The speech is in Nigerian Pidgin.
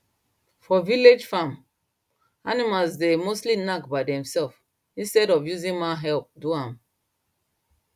for village farm animals dey mostly knack by themselves instead of using man help do am